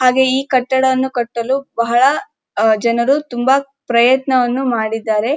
ಹಾಗೆಯೇ ಈ ಕಟ್ಟಡವನ್ನು ಕಟ್ಟಲು ಬಹಳ ಜನರು ಅಹ್‌ ತುಂಬಾ ಪ್ರಯತ್ನವನ್ನು ಮಾಡಿದ್ದಾರೆ.